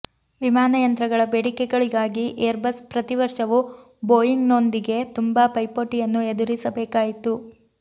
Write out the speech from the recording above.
ವಿಮಾನಯಂತ್ರಗಳ ಬೇಡಿಕೆಗಳಿಗಾಗಿ ಏರ್ಬಸ್ ಪ್ರತಿವರ್ಷವು ಬೋಯಿಂಗ್ ನೊಂದಿಗೆ ತುಂಬಾ ಪೈಪೋಟಿಯನ್ನು ಎದುರಿಸಬೇಕಾಯಿತು